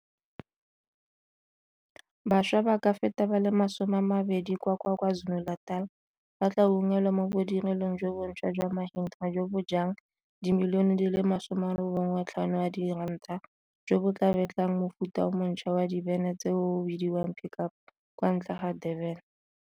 Bašwa ba ka feta ba le 20 kwa Kwa Zulu-Natal ba tla unngwelwa mo bodirelong jo bonšhwa jwa Mahindra jo bo jang R95 milione jo bo tla betlang mofuta o mo ntšhwa wa dibene tseno o o bidiwang Pick Up kwa ntle ga Durban.